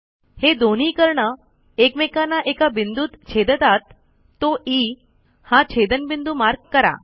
हे दोन्ही कर्ण एकमेकांना एका बिंदूत छेदतात तो ई हा छेदनबिंदू मार्क करा